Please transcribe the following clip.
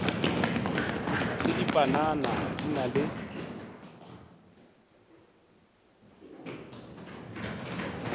le dipanana di na le